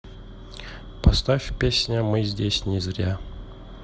поставь песня мы здесь не зря